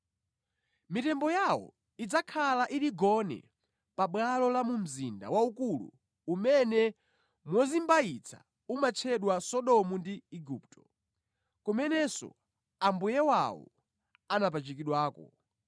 Mitembo yawo idzakhala ili gone pabwalo la mu mzinda waukulu umene mozimbayitsa umatchedwa Sodomu ndi Igupto, kumenenso Ambuye wawo anapachikidwako.